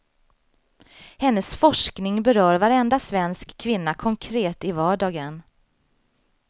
Hennes forskning berör varenda svensk kvinna konkret i vardagen.